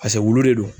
paseke wulu de do